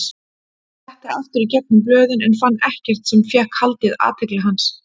Fletti aftur í gegnum blöðin en fann ekkert sem fékk haldið athygli hans.